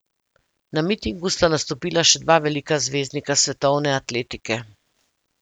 Na mitingu sta nastopila še dva velika zvezdnika svetovne atletike.